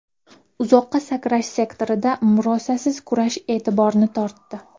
Uzoqqa sakrash sektorida murosasiz kurash e’tiborni tortdi.